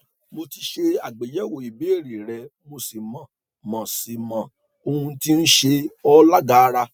mo ti ṣe àgbéyẹwò ìbéèrè rẹ mo sì mọ mo sì mọ ohun tí ń ṣe ọ lágara